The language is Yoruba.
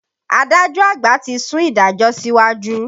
Adájọ́ àgbà ti sún ìdájọ́ síwájú.